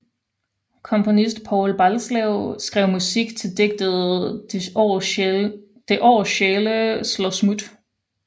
Komponist Povl Balslev skrev musik til digtet Det år sjæle slår smut